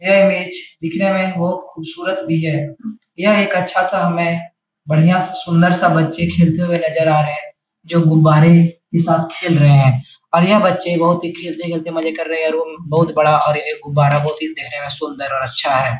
यह इमेज दिखने में बोहोत खूबसूरत भी है। यह एक अच्छा-सा हमे है। बढ़िया-सा सुंदर-सा बच्चे खेलते हुए नज़र आ रहे हैं। जो गुब्बारे के साथ खेल रहे है और यह बच्चे बहुत ही खेलते-खेलते मज़े कर रहे और बहुत बड़ा और एक गुब्बारा बहुत ही दिखने में सुंदर और अच्छा है।